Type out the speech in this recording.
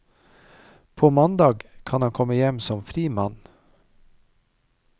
På mandag kan han komme hjem som fri mann.